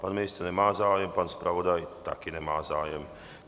Pan ministr nemá zájem, pan zpravodaj taky nemá zájem.